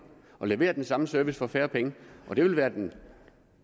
og levere den samme service for færre penge og det vil være den